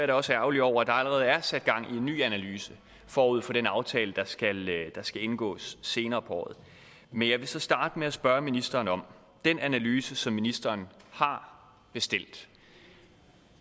da også ærgerlig over at der allerede er sat gang i en ny analyse forud for den aftale der skal skal indgås senere på året men jeg vil så starte med at spørge ministeren om den analyse som ministeren har bestilt